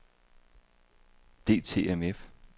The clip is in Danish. DTMF